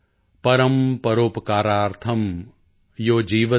ਪਰਮ੍ ਪਰੋਪਕਾਰਾਰਥਮ੍ ਯੋ ਜੀਵਤਿ ਸ ਜੀਵਤਿ॥